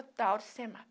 O tal do semapi.